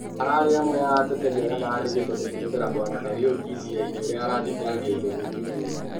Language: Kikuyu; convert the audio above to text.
ararĩ amwe a ateteri aria marandĩkĩtwo kũmũtetera Bwana Karĩuki cira-inĩ ũria arathitangĩirwo gũkũnyanĩra